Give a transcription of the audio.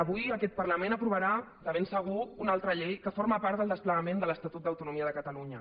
avui aquest parlament aprovarà de ben segur una altra llei que forma part del desplegament de l’estatut d’autonomia de catalunya